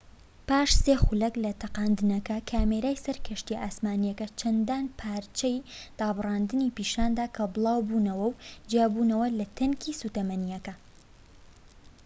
پاش ٣ خولەك لە تەقاندنەکە، کامێرەی سەر کەشتیە ئاسمانیەکە چەندان پارچەی دابڕاندنی پیشاندا کە بڵاوبووبونەوە و جیابووبونەوە لە تانکی سوتەمەنیەکە